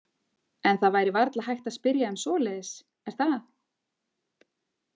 En það væri varla hægt að spyrja um svoleiðis, er það?